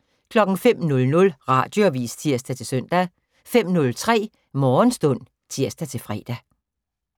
05:00: Radioavis (tir-søn) 05:03: Morgenstund (tir-fre)